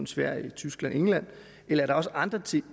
sverige tyskland og england eller er det også andre ting